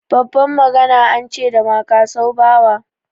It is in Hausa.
Babban magana an ce da makasau bawa.